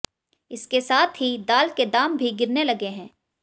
इसके साथ ही दाल के दाम भी गिरने लगे हैं